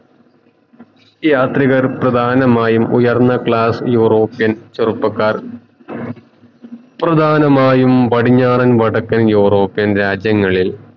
യാത്രികർ പ്രധാനമായും ഉയർന്ന class European ചെറുപ്പക്കാർ പ്രധാനമായും പടിഞ്ഞാറൻ വടക്കൻ യുറോപിയൻ രാജ്യങ്ങളിൽ